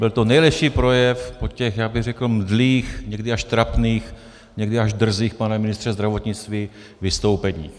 Byl to nejlepší projev po těch, já bych řekl mdlých, někdy až trapných, někdy až drzých, pane ministře zdravotnictví, vystoupeních.